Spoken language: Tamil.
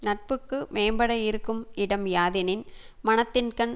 நட்புக்கு மேம்பட இருக்கும் இடம் யாதெனின் மனத்தின்கண்